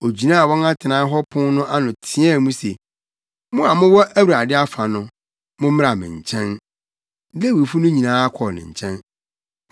ogyinaa wɔn atenae hɔ pon no ano teɛɛ mu se, “Mo a mowɔ Awurade afa no, mommra me nkyɛn.” Lewifo no nyinaa kɔɔ ne nkyɛn.